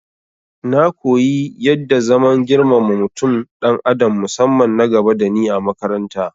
Na koyi yadda zaman girmama mutum dan adam musamman nagaba dani a makarata